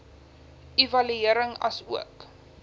evaluering asook